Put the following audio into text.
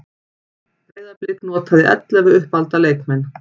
Breiðablik notaði ellefu uppalda leikmenn